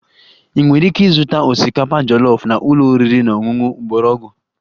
Ị nwere ike ịzụta osikapa jollof na ụlọ oriri na ọṅụṅụ mgbọrọgwụ